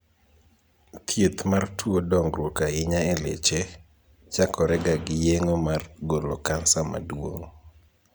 Thieth mar tuo dongruok ahinya e leche, chakorega gi yeng'o mar golo kansa maduong '.